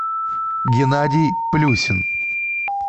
геннадий плюсин